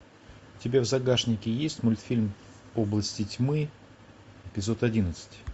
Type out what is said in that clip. у тебя в загашнике есть мультфильм области тьмы эпизод одиннадцать